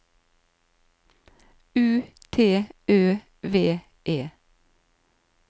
U T Ø V E